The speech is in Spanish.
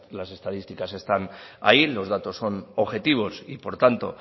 las estadísticas están allí los datos son objetivos y por tanto